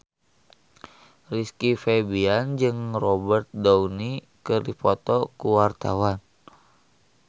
Rizky Febian jeung Robert Downey keur dipoto ku wartawan